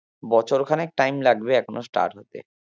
বছর খানেক টাইম লাগবে এখনো start হতে